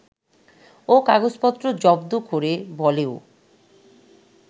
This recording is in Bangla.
ও কাগজপত্র জব্দ করে বলেও